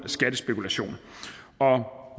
skattespekulation